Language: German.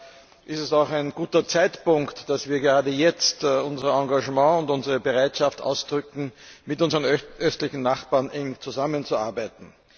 Daher ist es auch ein guter Zeitpunkt, dass wir gerade jetzt unser Engagement und unsere Bereitschaft ausdrücken, mit unseren östlichen Nachbarn eng zusammenzuarbeiten.